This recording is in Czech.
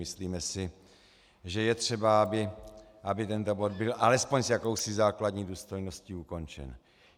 Myslíme si, že je třeba, aby tento bod byl alespoň s jakousi základní důstojností ukončen.